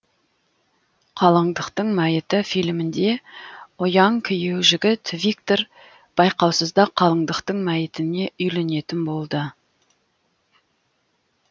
қалыңдықтың мәйіті фильмінде ұяң күйеу жігіт виктор байқаусызда қалыңдықтың мәйітіне үйленетін болды